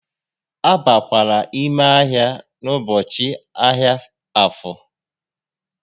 A bakwala ime ahia n'ụbọchị ahịa Afo!